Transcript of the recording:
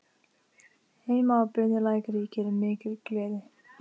Heima á Bunulæk ríkir mikil gleði.